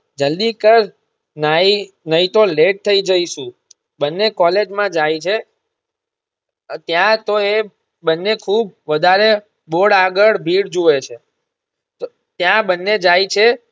જલ્દી કર નઈ નઈતો late થઇ જઈશુ બંને કૉલેજ માં જાય છે ત્યાં તો એ બંને ખુબ વધારે board આગળ ભીડ જુએ છે ત્યાં બંને જાય છે.